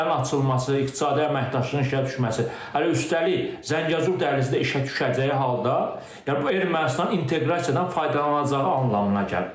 Sərhədlərin açılması, iqtisadi əməkdaşlığın işə düşməsi, hələ üstəlik, Zəngəzur dəhlizi də işə düşəcəyi halda, yəni bu Ermənistanın inteqrasiyadan faydalanacağı anlamına gəlir.